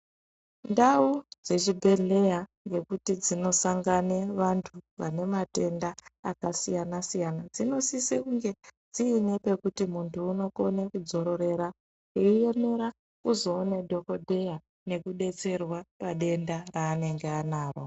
Ndau dzechibhedhleya dzekuti dzinosangane vantu vane matenda akasiyana siyana dzinosise kunge dziine pekuti muntu unokone kudzororera eiemera kuzoone dhokodheya nekudetserwa padenda raanenge anaro.